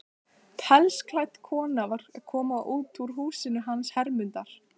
Pelsklædd kona var að koma út úr húsinu hans Hermundar.